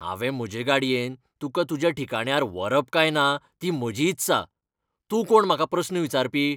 हांवें म्हजे गाडयेन तुका तुज्या ठिकाण्यार व्हरप काय ना ती म्हजी इत्सा. तूं कोण म्हाका प्रस्न विचारपी?